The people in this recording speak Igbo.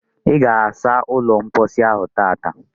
Ị ga asa ụlọ mposi ahụ tata?